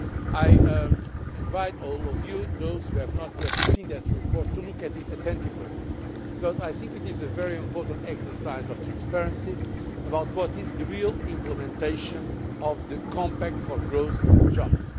I invite all of you those who have not yet seen that report to look at it attentively because I think it is a very important exercise in transparency as regards the real implementation of the Compact for Growth and Jobs.